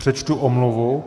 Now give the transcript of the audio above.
Přečtu omluvu.